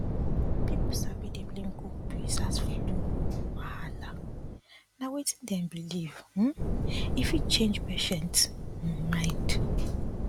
um pipo sabi dey blame cold breeze as flu wahala na wetin dem believe um e fit change patient um mind